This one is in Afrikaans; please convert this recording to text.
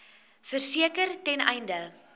verseker ten einde